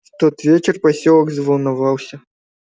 в тот вечер посёлок заволновался